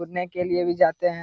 कूदने के लिए भी जाते हैं।